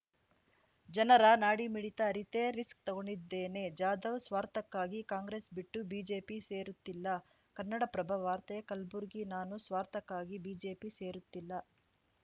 ಜನರ ನಾಡಿಮಿಡಿತ ಅರಿತೇ ರಿಸ್ಕ್ ತಗೊಂಡಿದ್ದೇನೆ ಜಾಧವ್‌ ಸ್ವಾರ್ಥಕ್ಕಾಗಿ ಕಾಂಗ್ರೆಸ್‌ ಬಿಟ್ಟು ಬಿಜೆಪಿ ಸೇರುತ್ತಿಲ್ಲ ಕನ್ನಡಪ್ರಭ ವಾರ್ತೆ ಕಲ್ಬುರ್ಗಿ ನಾನು ಸ್ವಾರ್ಥಕ್ಕಾಗಿ ಬಿಜೆಪಿ ಸೇರುತ್ತಿಲ್ಲ